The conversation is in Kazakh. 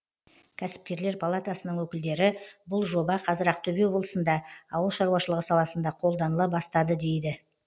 кәсіпкерлер палатасының өкілдері бұл жоба қазір ақтөбе облысында ауыл шаруашылығы саласында қолданыла бастады дейді